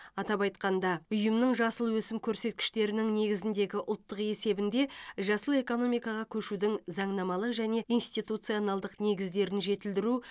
атап айтқанда ұйымның жасыл өсім көрсеткіштерінің негізіндегі ұлттық есебінде жасыл экономикаға көшудің заңнамалық және институционалдық негіздерін жетілдіру